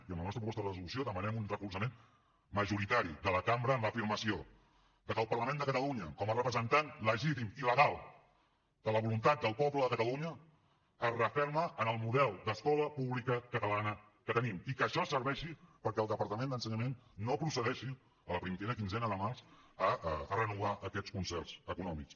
i en la nostra proposta de resolució demanem un recolzament majoritari de la cambra en l’afirmació de que el parlament de catalunya com a representant legítim i legal de la voluntat del poble de catalunya es referma en el model d’escola pública catalana que tenim i que això serveixi perquè el departament d’ensenyament no procedeixi la primera quinzena de març a renovar aquests concerts econòmics